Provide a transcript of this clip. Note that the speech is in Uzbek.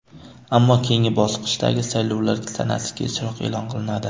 Ammo keyingi bosqichdagi saylovlar sanasi kechroq e’lon qilinadi.